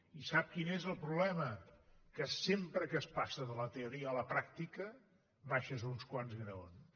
i sap quin és el problema que sempre que es passa de la teoria a la pràctica baixes uns quants graons